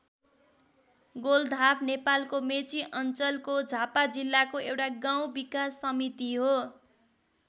गोलधाप नेपालको मेची अञ्चलको झापा जिल्लाको एउटा गाउँ विकास समिति हो।